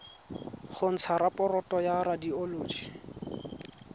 go ntsha raporoto ya radioloji